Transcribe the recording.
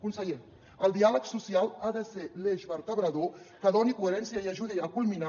conseller el diàleg social ha de ser l’eix vertebrador que doni coherència i ajudi a culminar